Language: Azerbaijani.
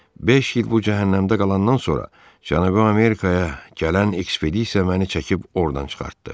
Beş il bu cəhənnəmdə qalandan sonra Cənubi Amerikaya gələn ekspedisiya məni çəkib ordan çıxartdı.